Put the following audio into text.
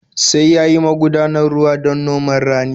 Sai ya yi magudanar ruwa don noman rani.